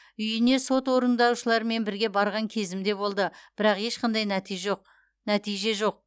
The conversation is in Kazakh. үйіне сот орындаушыларымен бірге барған кезім де болды бірақ ешқандай нәтиж жоқ нәтиже жоқ